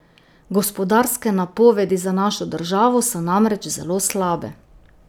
Gospodarske napovedi za našo državo so namreč zelo slabe.